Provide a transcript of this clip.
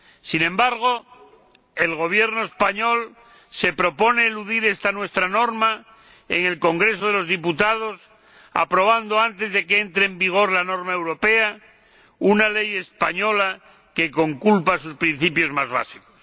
Sin embargo, el Gobierno español se propone eludir esta nuestra norma en el Congreso de los Diputados aprobando, antes de que entre en vigor la norma europea, una ley española que conculca sus principios más básicos.